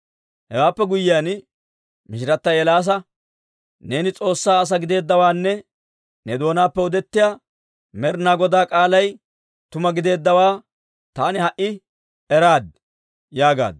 Hewaappe guyyiyaan mishirata Eelaasa, «Neeni S'oossaa asaa gideeddawaanne ne doonaappe odettiyaa Med'inaa Goda k'aalay tuma giddeeddawaa taani ha"i eraad» yaagaaddu.